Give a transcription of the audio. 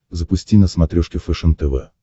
запусти на смотрешке фэшен тв